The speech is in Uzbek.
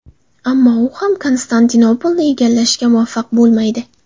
Ammo u ham Konstantinopolni egallashga muvaffaq bo‘lmaydi.